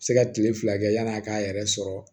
Se ka tile fila kɛ yani a k'a yɛrɛ sɔrɔ